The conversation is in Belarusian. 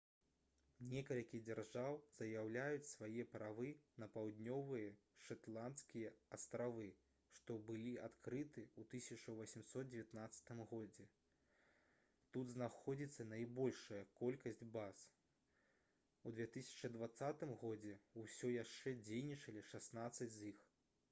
некалькі дзяржаў заяўляюць свае правы на паўднёвыя шэтландскія астравы што былі адкрыты ў 1819 годзе тут знаходзіцца найбольшая колькасць баз у 2020 годзе ўсё яшчэ дзейнічалі шаснаццаць з іх